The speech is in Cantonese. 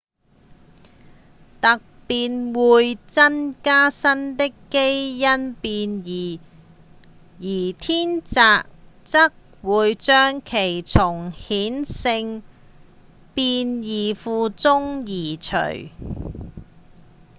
突變會增加新的基因變異而天擇則會將其從顯性變異庫中移除